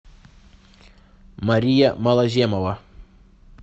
мария малоземова